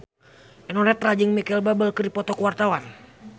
Eno Netral jeung Micheal Bubble keur dipoto ku wartawan